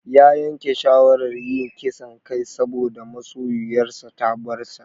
Ya yanke shawarar yin ƙisan kai saboda masoyoyar ta bar sa.